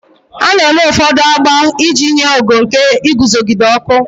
A na-eme ụfọdụ agba iji nye ogo nke iguzogide ọkụ.